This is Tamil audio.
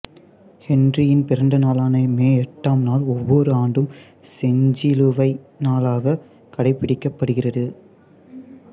ஹென்றியின் பிறந்தநாளான மே எட்டாம் நாள் ஒவ்வொரு ஆண்டும் செஞ்சிலுவை நாளாக கடைபிடிக்கப்படுகிறது